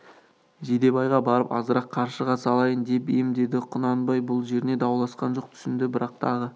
жидебайға барып азырақ қаршыға салайын деп ем деді құнанбай бұл жеріне дауласқан жоқ түсінді бірақ тағы